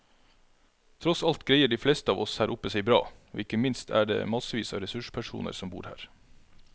Tross alt greier de fleste av oss her oppe seg bra, og ikke minst er det massevis av ressurspersoner som bor her.